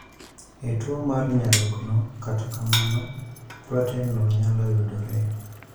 E tuo mar nyarogno, kata kamano, proten no nyalo yudore